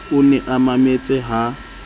o ne a mametse ha